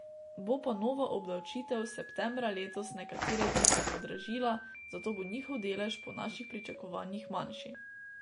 Bo pa nova obdavčitev septembra letos nekatere dizle podražila, zato bo njihov delež po naših pričakovanjih manjši.